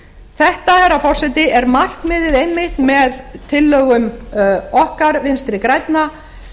þetta herra forseti er markmiðið einmitt með tillögum okkar vinstri grænna